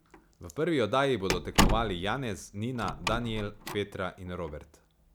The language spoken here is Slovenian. V prvi oddaji bodo tekmovali Janez, Nina, Danijel, Petra in Robert.